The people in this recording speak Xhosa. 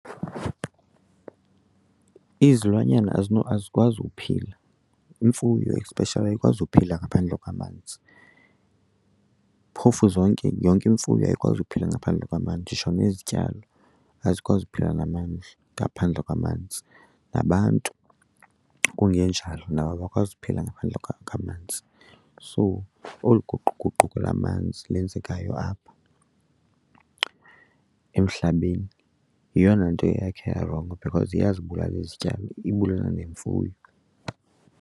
Izilwanyana azikwazi ukuphila, imfuyo especially ayikwazi ukuphila ngaphandle kwamanzi. Phofu zonke, yonke imfuyo ayikwazi ukuphila ngaphandle kwamanzi, nditsho nezityalo azikwazi ukuphila ngaphandle kwamanzi, nabantu kungenjalo nabo abakwazi ukuphila ngaphandle kwamanzi. So olu guquguquko lamanzi lenzekayo apha emhlabeni yeyona nto yakhe yarongo because iyazibulala izityalo ibulala nemfuyo.